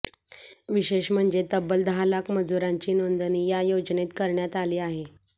विशेष म्हणजे तब्बल दहा लाख मजुरांची नाेंंदणी या योजनेत करण्यात आली आहे